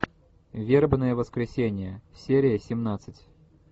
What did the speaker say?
вербное воскресенье серия семнадцать